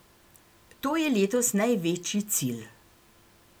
To je letos največji cilj.